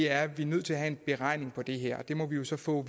at vi er nødt til at have en beregning af det her det må vi jo så få